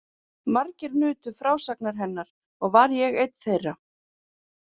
Margir nutu frásagna hennar og var ég einn þeirra.